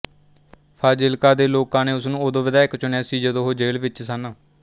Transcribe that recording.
ਫਾਜ਼ਿਲਕਾ ਦੇ ਲੋਕਾਂ ਨੇ ਉਸਨੂੰ ਉਦੋਂ ਵਧਾਇਕ ਚੁਣਿਆ ਸੀ ਜਦੋਂ ਉਹ ਜੇਲ੍ਹ ਵਿੱਚ ਸਨ